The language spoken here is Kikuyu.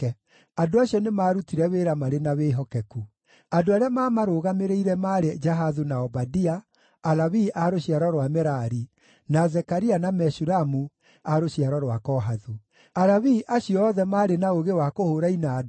Andũ acio nĩmarutire wĩra marĩ na wĩhokeku. Andũ arĩa maamarũgamĩrĩire maarĩ Jahathu na Obadia, Alawii a rũciaro rwa Merari, na Zekaria na Meshulamu a rũciaro rwa Kohathu. Alawii acio othe maarĩ na ũũgĩ wa kũhũũra inanda,